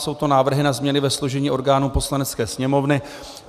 Jsou to návrhy na změny ve složení orgánů Poslanecké sněmovny.